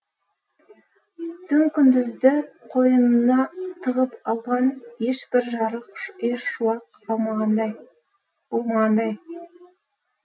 түн күндізді қойынына тығып алған ешбір жарық ешбір шуақ болмағандай